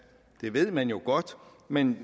det ved man godt men